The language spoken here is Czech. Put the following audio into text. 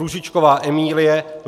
Růžičková Emílie